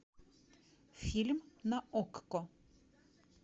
фильм на окко